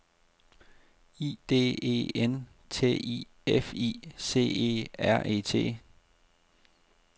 I D E N T I F I C E R E T